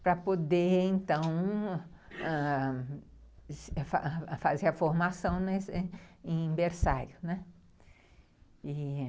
para poder, então, ãh, fazer a formação em em berçário, né. E